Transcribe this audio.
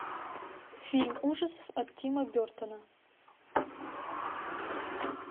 фильм ужасов от тима бертона